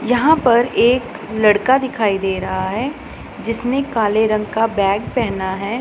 यहां पर एक लड़का दिखाई दे रहा है जिसने काले रंग का बैग पहेना है।